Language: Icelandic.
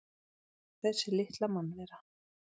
Þessi litla mannvera!